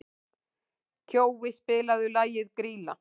Kjói, spilaðu lagið „Grýla“.